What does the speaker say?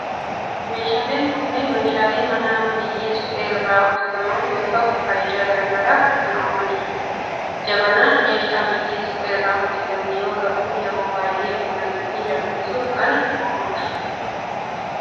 Meeshaaleen kunneen meeshaalee manaa biyyee suphee irraa hojjetaman yoo ta'u faayidaa garaa garaaf kan oolanidha. Jabanaan meeshaa biyyee suphee irraa hojjetame yoo ta'u yeroo baayyee buna ittiin danfisuf kan ooludha.